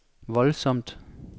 voldsomt